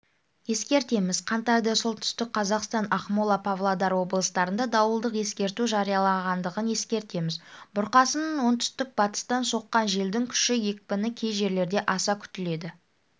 ескертеміз қаңтарда солтүстік қазақстан ақмола павлодар облыстарында дауылдық ескерту жарияланғандығын ескертеміз бұрқасын оңтүстік-батыстан соққан желдің күші екпіні кей жерлерде аса күтіледі